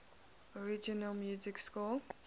original music score